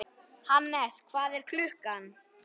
Hannes, hvað er klukkan?